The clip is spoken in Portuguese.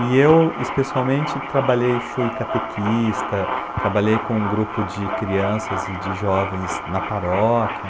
E eu especialmente trabalhei, fui catequista, trabalhei com um grupo de crianças e de jovens na paróquia.